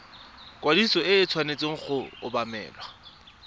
ikwadiso e tshwanetse go obamelwa